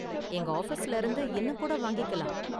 எங்க ஆஃபீஸ்ல இருந்து இன்னும் கூட வாங்கிக்கலாம்.